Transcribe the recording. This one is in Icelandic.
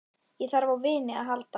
Ég þarf á vini að halda.